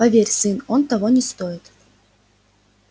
поверь сын оно того не стоит